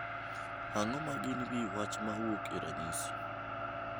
Ang’o ma gin wi wach ma wuok e ranyisi?